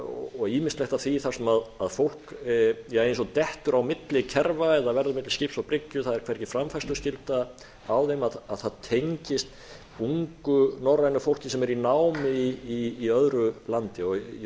og ýmislegt af því þar sem fólk eins og dettur á milli kerfa eða verður milli skips og bryggju það er hvergi framfærsluskylda á þeim það tengist ungu norrænu fólki sem er í námi í öðru landi ég vildi